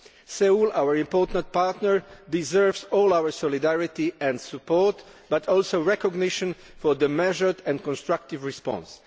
Seoul, our important partner, deserves all our solidarity and support, but also recognition for its measured and constructive response.